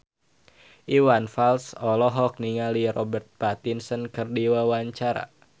Iwan Fals olohok ningali Robert Pattinson keur diwawancara